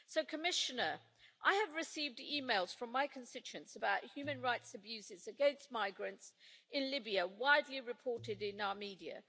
Commissioner, I have received emails from my constituents about human rights abuses against migrants in Libya, widely reported in our media.